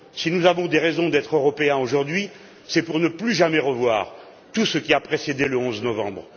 Si nous avons des raisons d'être Européens aujourd'hui, c'est pour ne plus jamais revoir tout ce qui a précédé le 11 novembre.